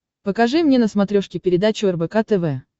покажи мне на смотрешке передачу рбк тв